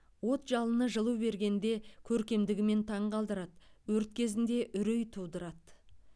от жалыны жылу бергенде көркемдігімен таң қалдырады өрт кезінде үрей тудырады